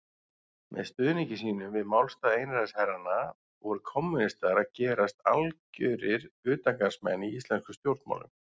Með stuðningi sínum við málstað einræðisherranna voru kommúnistar að gerast algjörir utangarðsmenn í íslenskum stjórnmálum.